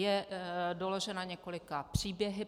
Je doložena několika příběhy.